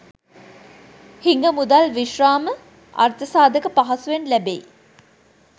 හිඟ මුදල් විශ්‍රාම අර්ථසාධක පහසුවෙන් ලැබෙයි.